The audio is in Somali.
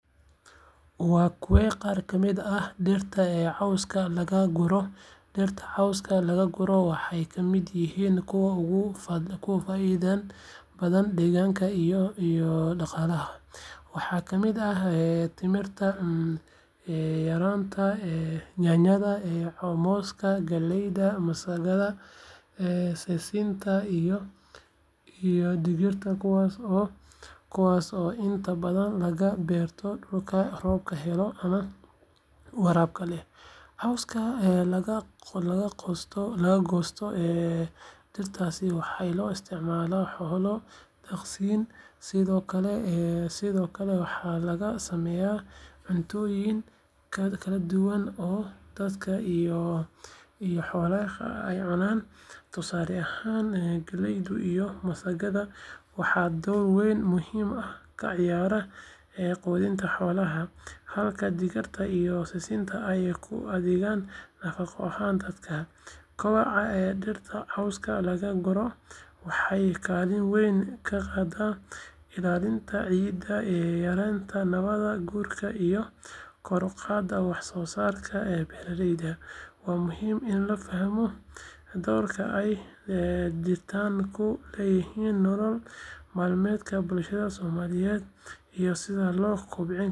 Waa kuwee qaar ka mid ah dhirta cawska laga guro? Dhirta cawska laga guro waxay ka mid yihiin kuwa ugu faa’iidada badan deegaanka iyo dhaqaalaha. Waxaa ka mid ah timirta, yaanyada, mooska, galleyda, masagada, sisinta iyo digirta kuwaas oo inta badan laga beerto dhulka roobka helo ama waraabka leh. Cawska laga goosto dhirtaas waxaa loo isticmaalaa xoolo daaqsin, sidoo kale waxaa laga sameeyaa cuntooyin kala duwan oo dadka iyo xoolahaba ay cunaan. Tusaale ahaan, galleyda iyo masagada waxay door muhiim ah ka ciyaaraan quudinta xoolaha, halka digirta iyo sisinta ay u adeegaan nafaqo ahaan dadka. Kobaca dhirta cawska laga guro wuxuu kaalin weyn ka qaataa ilaalinta ciidda, yareynta nabaad guurka iyo kor u qaadida wax soo saarka beeralayda. Waa muhiim in la fahmo doorka ay dhirtani ku leedahay nolol maalmeedka bulshada Soomaaliyeed iyo sida loo kobcin karo iyadoo la tixgelinayo deegaanka iyo isbedelka cimilada.